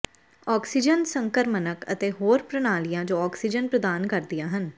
oxygen ਸੰਕਰਮਣਕ ਅਤੇ ਹੋਰ ਪ੍ਰਣਾਲੀਆਂ ਜੋ ਆਕਸੀਜਨ ਪ੍ਰਦਾਨ ਕਰਦੀਆਂ ਹਨ